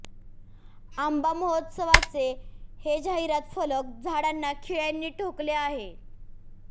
आंबा महोत्सवाचे हे जाहिरात फलक झाडांना खिळ्यांनी ठोकले आहेत